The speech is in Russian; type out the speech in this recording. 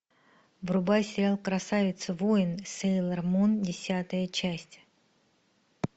врубай сериал красавица воин сейлор мун десятая часть